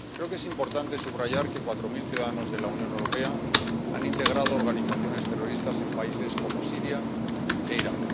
Creo que es importante subrayar que cuatro mil ciudadanos de la Unión Europea han integrado organizaciones terroristas en países como Siria e Irak.